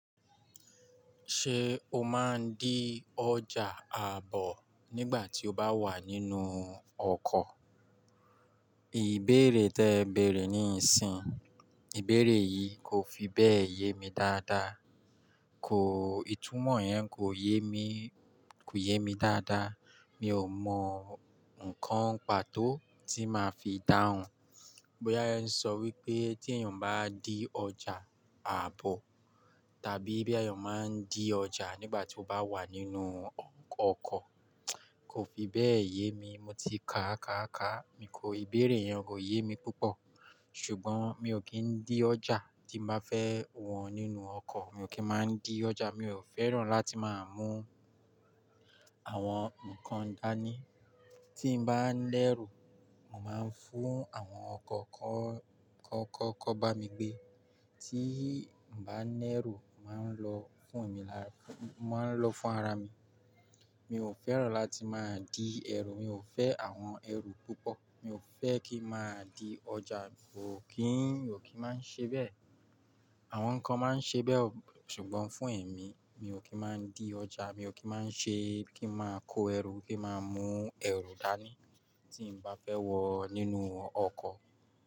Ṣé o máa ń dí ọjà àbọ̀ nígbà tí o bá wà nínú ọkọ̀? Ìbéèrè tí ẹ bèèrè níìsín, ìbéèrè yìí kò fi bẹ́ẹ̀ yé mi dáadáa. Kò, ìtumọ̀ yẹn kò yé mi, kò yé mi dáadáa. Mi ò mọ nǹkan pàtó tí màá fi dáhùn. Bóyá yẹn ń sọ wípé tí èèyàn bá dí ọjà àbọ̀ tàbí bí èèyàn máa ń dí ọjà nígbà tí ó bá wà nínú ọkọ̀. Kò fi bẹ́ẹ̀ yé mi. Mo ti ka à ká ká, ìbéèrè yẹn kò yé mi púpọ̀. Ṣùgbọ́n mi ò kí ń dí ọjà tí màá fẹ́ wọ̀n nínú ọkọ̀. Mi ò kí máa ń dí ọjà, mi ò fẹ́ràn láti máa mú àwọn nǹkan dání. Tí n bá ń lẹ́rù, màá ń fún àwọn kọ̀ kọ́, kọ́, kọ́ bá mi gbé. Tí mo bá ń lẹ́rù, màá ń lọ fún mi lára, màá ń lọ fún ara mi. Mi ò fẹ́ràn láti máa dí ẹrù, mi ò fẹ́ àwọn ẹrù púpọ̀. Mi ò fẹ́ kí màá dí ọjà, mi kò kí, mi ò kí máa ń ṣe bẹ́ẹ̀. Àwọn kan máa ń ṣe bẹ́ẹ̀, ṣùgbọ́n fún èmi, mi ò kí máa ń dí ọjà, mi ò kí máa ń ṣe kí màá kó ẹrù kí màá mú ẹrù dání tí mo bá fẹ́ wọ nínú ọkọ̀.